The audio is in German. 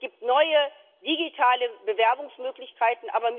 Es gibt neue digitale Bewerbungsmöglichkeiten.